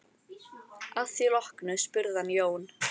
Að því loknu spurði hann Jón